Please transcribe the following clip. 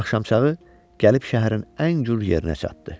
Axşamçağı gəlib şəhərin ən güllü yerinə çatdı.